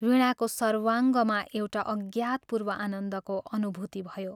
वीणाको सर्वाङ्गमा एउटा अज्ञातपूर्व आनन्दको अनुभूति भयो।